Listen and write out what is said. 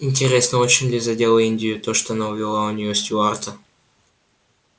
интересно очень ли задело индию то что она увела у нее стюарта